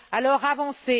Alors avancez!